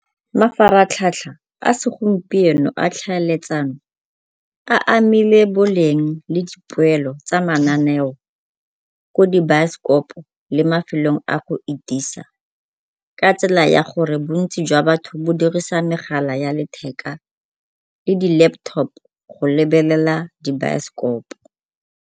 Mafaratlhatlha a segompieno a tlhaeletsano a amile boleng le dipoelo tsa mananeo ko di baesekopo le mafelong a go itisa, ka tsela ya gore bontsi jwa batho bo dirisa megala ya letheka le di-laptop go lebelela dibaesekopo.